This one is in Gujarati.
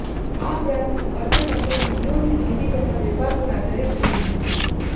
આ પ્રાંતનું અર્થતંત્ર સદીઓથી ખેતી તથા વેપાર પર આધારિત રહ્યું છે